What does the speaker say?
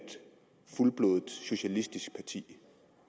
fuldblods socialistisk parti